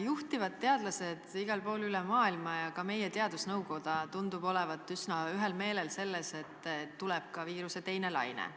Juhtivad teadlased igal pool üle maailma ja ka meie teadusnõukoda tundub olevat üsna ühel meelel, et tuleb ka viiruse teine laine.